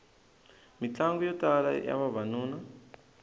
mitlangu yo tala ya vavanuna